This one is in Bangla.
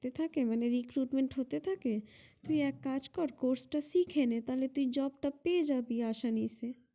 হাতে থাকে মানে recruitment হাতে থাকে তুই এক কাজ কর course তা শিখে নে তালে তুই job টা পেয়ে যাবি আসানিছে